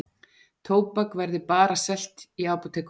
Tóbak verði bara selt í apótekum